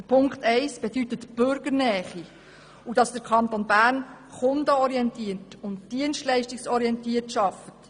Ziffer 1 bedeutet Bürgernähe, und dass der Kanton Bern kunden- und dienstleistungsorientiert arbeitet.